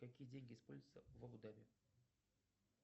какие деньги используются в абу даби